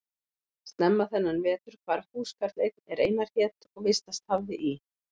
Snemma þennan vetur hvarf húskarl einn er Einar hét og vistast hafði í